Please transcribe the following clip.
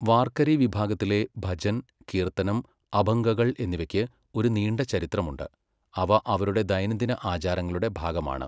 വാർകരി വിഭാഗത്തിലെ ഭജൻ, കീർത്തനം, അഭംഗകൾ എന്നിവയ്ക്ക് ഒരു നീണ്ട ചരിത്രമുണ്ട്, അവ അവരുടെ ദൈനംദിന ആചാരങ്ങളുടെ ഭാഗമാണ്.